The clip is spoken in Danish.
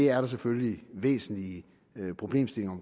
er der selvfølgelig væsentlige problemstillinger